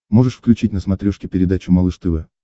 можешь включить на смотрешке передачу малыш тв